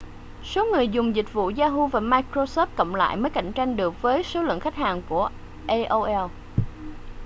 số người dùng dịch vụ yahoo và microsoft cộng lại mới cạnh tranh được với số lượng khách hàng của aol